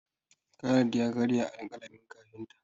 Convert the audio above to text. Khalid ya karya alƙalamin kafinta.